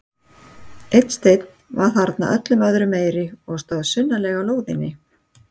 Einn steinn var þarna öllum öðrum meiri og stóð sunnarlega á lóðinni.